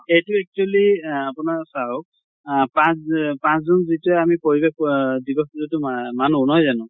এইটো actually এহ আপোনাৰ চাওঁক পাঁছ যে পাঁছ june যেতিয়া আমি পৰিবেশ অহ দিৱস যিটো মা মানো নহয় জানো?